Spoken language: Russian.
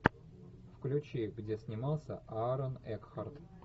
включи где снимался аарон экхарт